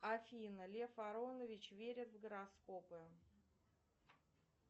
афина лев аронович верит в гороскопы